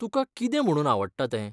तुका कितें म्हुणून आवडटा तें?